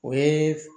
O ye